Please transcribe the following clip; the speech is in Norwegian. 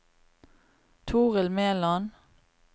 Toril Meland